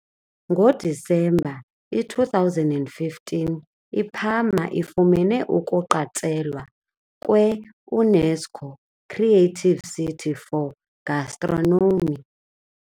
NgoDisemba i -2015 iParma ifumene ukuqatshelwa kwe " UNESCO Creative City for Gastronomy".